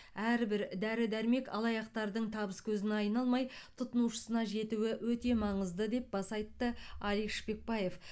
әрбір дәрі дәрмек алаяқтардың табыс көзіне айналмай тұтынушысына жетуі өте маңызды деп баса айтты алик шпекбаев